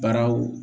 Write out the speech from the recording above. Baaraw